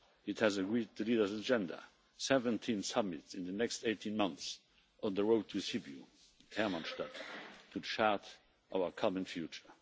It has agreed the leaders' agenda 17 summits in the next 18 months on the road to Sibiu to chart our common future.